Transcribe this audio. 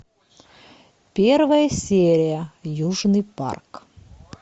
первая серия южный парк